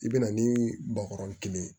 I bɛ na ni bakɔrɔnin kelen ye